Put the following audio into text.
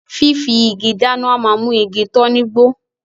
Fífi igi dáná a máa mú igi tán ní gbó